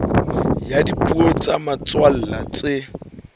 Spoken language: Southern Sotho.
ya dipuo tsa motswalla tse